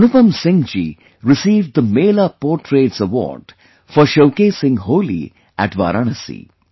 Anupam Singh ji received the Mela Portraits Award for showcasing Holi at Varanasi